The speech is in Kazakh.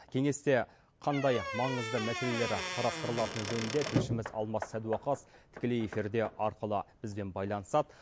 кеңесте қандай маңызды мәселелер қарастырылатын жөнінде тілшіміз алмас садуақас тікелей эфирде арқылы бізбен байланысады